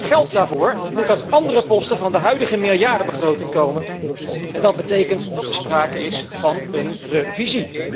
Geld daarvoor moet uit andere posten van de huidige meerjarenbegroting komen en dat betekent dat er sprake is van een herziening.